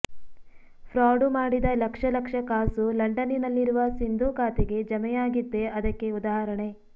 fraud ಮಾಡಿದ ಲಕ್ಷ ಲಕ್ಷ ಕಾಸು ಲಂಡನ್ನಿನಲ್ಲಿರುವ ಸಿಂಧೂ ಖಾತೆಗೆ ಜಮೆಯಾಗಿದ್ದೇ ಅದಕ್ಕೆ ಉದಾಹರಣೆ